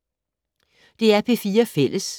DR P4 Fælles